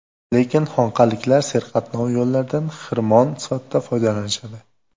Lekin xonqaliklar serqatnov yo‘llardan xirmon sifatida foydalanishadi.